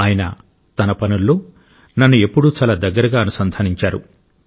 ఆయన తన పనుల్లో నన్ను ఎప్పుడూ చాలా దగ్గరగా అనుసంధానించాడు